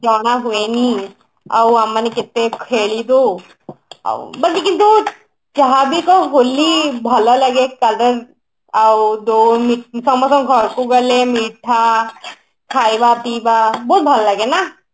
ଜଣା ହୁଏନି ଆଉ ଆମେ ମାନେ କେତେ ଖେଳିବୁ ବାକି କିନ୍ତୁ ଯାହାବି କହ ହୋଲି ଭଲଲଗେ color ଆଉ ଦୋ ସମସ୍ତଙ୍କ ଘରକୁ ଗଲେ ମିଠା ଖାଇବା ପିଇବା ବହୁତ ଭଲ ଲାଗେ ନା